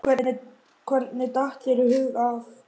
Hvernig datt þér í hug að.